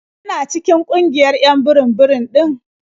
Yana cikin ƙungiyar 'yan burum-burum ɗin?